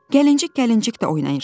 Gəlincik-gəlincik də oynayırsan.